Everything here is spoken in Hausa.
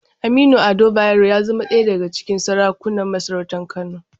Aminu Ado Bayero ya zamo ɗaya daga cikin sarakunan masarautar Kano.